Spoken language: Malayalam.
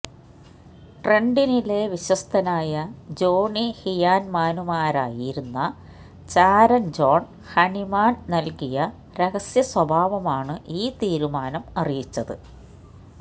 ട്രെന്റണിലെ വിശ്വസ്തനായ ജോണി ഹിയാൻമാനുമാരായിരുന്ന ചാരൻ ജോൺ ഹണിമാൻ നൽകിയ രഹസ്യസ്വഭാവമാണ് ഈ തീരുമാനം അറിയിച്ചത്